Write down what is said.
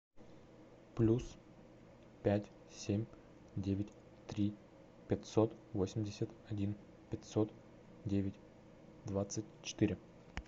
плюс пять семь девять три пятьсот восемьдесят один пятьсот девять двадцать четыре